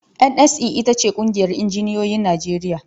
NSE ita ce ƙungiyar injinioyin Najeriya.